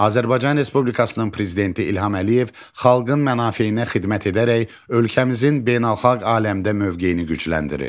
Azərbaycan Respublikasının Prezidenti İlham Əliyev xalqın mənafeyinə xidmət edərək ölkəmizin beynəlxalq aləmdə mövqeyini gücləndirir.